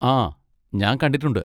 ആ! ഞാൻ കണ്ടിട്ടുണ്ട്.